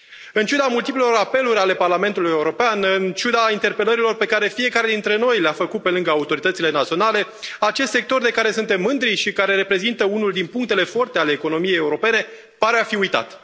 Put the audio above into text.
În ciuda multiplelor apeluri ale Parlamentului European, în ciuda interpelărilor pe care fiecare dintre noi le a făcut pe lângă autoritățile naționale, acest sector de care suntem mândri și care reprezintă unul din punctele forte ale economiei europene pare a fi uitat.